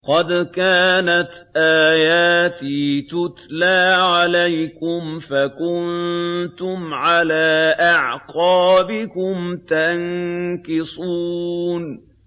قَدْ كَانَتْ آيَاتِي تُتْلَىٰ عَلَيْكُمْ فَكُنتُمْ عَلَىٰ أَعْقَابِكُمْ تَنكِصُونَ